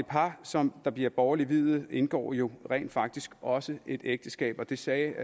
par som bliver borgerligt viet indgår jo rent faktisk også et ægteskab det sagde